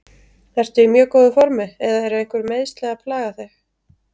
Ertu í mjög góðu formi eða eru einhver meiðsli að plaga þig?